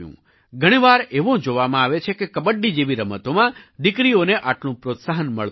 ઘણી વાર એવું જોવામાં આવે છે કે કબડ્ડી જેવી રમતોમાં દીકરીઓને આટલું પ્રોત્સાહન મળતું નથી